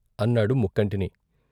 ' అన్నాడు ముక్కంటిని.